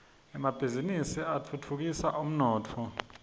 emabhizini atfutfukisa umnotfo